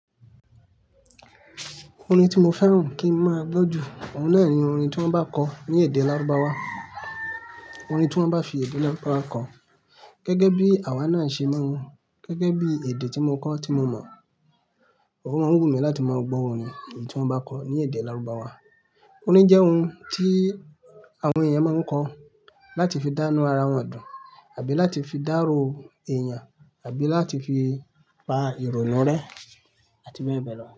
Orin tí mo fẹ́ràn kí n máa gbọ́ jù, òun náà ni orin tí wọ́n bá kọ ní èdè lárúbáwá, orin tí wọ́n bá fi èdè lárúbáwá kọ. Gẹ́gẹ́ bí àwa náà ṣe ma n, gẹ́gẹ́ bí èdè tí mo kọ́ tí mo mọ̀. Ò máa ń wùmí láti máa gbọ́ orin èyí tí wọ́n bá kọ ní èdè lárúbáwá. Orin jẹ́ ohun tí àwọn èèyàn máa ń kọ láti fi dánu ara wọn dùn, àbí láti fi dárò èèyàn, àbí láti fi pa ìrònú rẹ àti bẹ́ẹ̀ bẹ́ẹ̀ lọ.